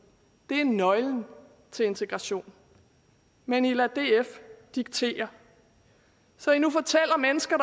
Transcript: men nøglen til integration men i lader df diktere så i nu fortæller mennesker